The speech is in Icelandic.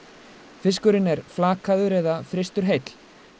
fiskurinn er flakaður eða fyrstur heill